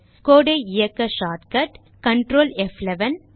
Code ஐ இயக்க shortcut control ப்11